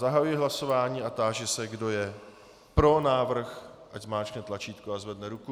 Zahajuji hlasování a táži se, kdo je pro návrh, ať zmáčkne tlačítko a zvedne ruku.